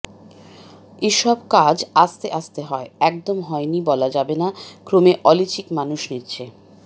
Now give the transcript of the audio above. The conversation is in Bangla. এ সব কাজ আস্তে আস্তে হয় একদম হয়নি বলা যাবে না ক্রমে অলচিকি মানুষ নিচ্ছে